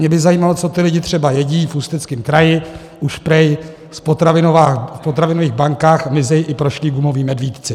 Mě by zajímalo, co ti lidé třeba jedí, v Ústeckém kraji už prý v potravinových bankách mizejí i prošlí gumoví medvídci.